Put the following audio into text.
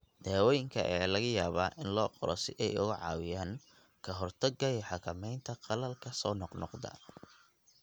Daawooyinka ayaa laga yaabaa in loo qoro si ay uga caawiyaan ka hortagga iyo xakamaynta qallalka soo noqnoqda.